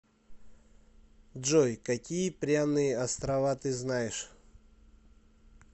джой какие пряные острова ты знаешь